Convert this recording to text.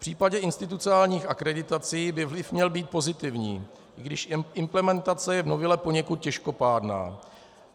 V případě institucionálních akreditací by vliv měl být pozitivní, i když implementace je v novele poněkud těžkopádná.